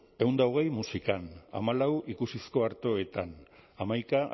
ehun eta hogei musikan hamalau ikusizko artoetan hamaika